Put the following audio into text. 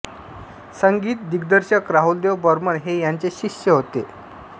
संगीत दिग्दर्शक राहुलदेव बर्मन हे यांचे शिष्य होते